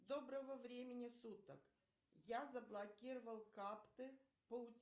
доброго времени суток я заблокировал карты по